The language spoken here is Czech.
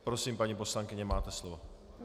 Prosím, paní poslankyně, máte slovo.